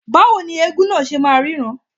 Báwo ni eégún náà ṣe máa ríran..